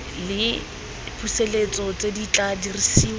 le dipusetso di tla dirisiwa